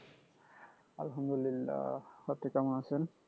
আলহামদুলিল্লাহ্‌ আপনি কেমন আছেন